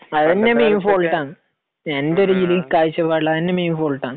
അത് തന്നെ main fault ആണ്. എന്റെ ഒരു കാഴ്ചപ്പാടിൽ അതുതന്നെ മെയിൻ ഫോൾട്ട് ആണ്.